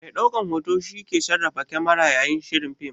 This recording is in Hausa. Mai ɗaukan hoto shi ke sarrafa kamara yayin shirin fim.